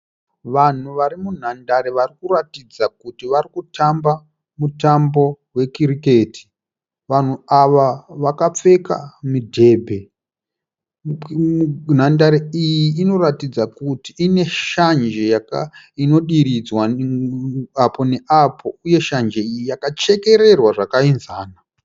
Vanhu vari munhandare varikuratidza kuti varikutamba mutambo we cricket. Vanhu ava vakapfeka midhembe. Nhandare iyi inoratidza kuti ine shanje inodiridzwa apo nepapo uye shanje iyi yakachekererwa zvakaenzana.